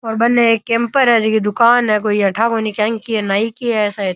और बनने एक कैंपर है जे की दूकान है कोई अठा कोनी नाइ की है सायद।